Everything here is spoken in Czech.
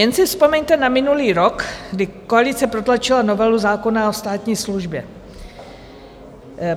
Jen si vzpomeňte na minulý rok, kdy koalice protlačila novelu zákona o státní službě.